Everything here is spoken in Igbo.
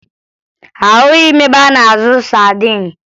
Ahụghị m ebe a na-azụ sadin